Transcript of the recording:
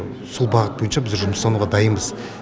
сол бағыт бойынша біздер жұмыстануға дайынбыз